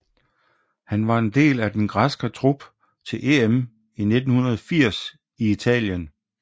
Han var en del af den græske trup til EM i 1980 i Italien